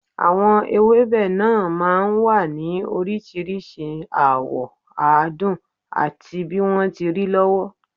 Àwọn ewébẹ̀ náà máa ń wà ní oríṣiríṣi àwọ̀, àádùn àti bí wọ́n ti rí lọ́wọ́